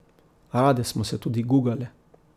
Rade smo se tudi gugale.